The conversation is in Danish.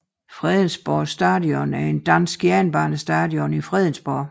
Fredensborg Station er en dansk jernbanestation i Fredensborg